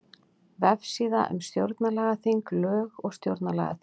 Vefsíða um stjórnlagaþing Lög um stjórnlagaþing